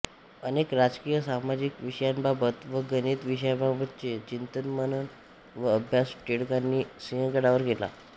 अनेक राजकीय सामाजिक विषयांबाबत व गणित विषयाबाबतचे चिंतनमनन व अभ्यास टिळकांनी सिंहगडावर केला